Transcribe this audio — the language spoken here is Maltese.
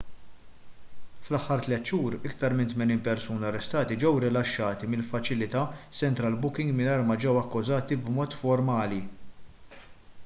fl-aħħar 3 xhur iktar minn 80 persuna arrestati ġew rilaxxati mill-faċilità central booking mingħajr ma ġew akkużati b'mod formali